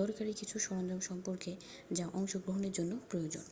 দরকারি কিছু সরঞ্জাম সম্পর্কে যা অংশগ্রহণের জন্য প্রয়োজন